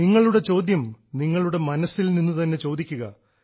നിങ്ങളുടെ ചോദ്യം നിങ്ങളുടെ മനസ്സിൽ നിന്നുതന്നെ ചോദിക്കുക